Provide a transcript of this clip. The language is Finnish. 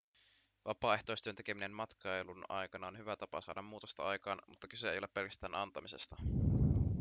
vapaaehtoistyön tekeminen matkailun aikana on hyvä tapa saada muutosta aikaan mutta kyse ei ole pelkästään antamisesta